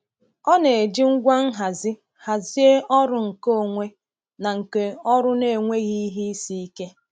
Ọ na-eji ngwa nhazi hazie ọrụ nke onwe na nke ọrụ n’enweghị ihe isi ike.